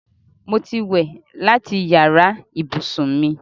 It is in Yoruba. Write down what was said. Mo ti wẹ̀ láti yàrá ibùsùn mi